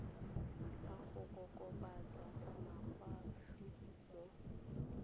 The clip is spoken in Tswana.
la go kokobatsa makgwafo mo